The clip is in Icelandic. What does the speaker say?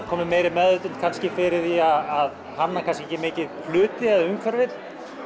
komin meiri meðvitund kannski fyrir því að hanna kannski ekki mikið hluti eða umhverfið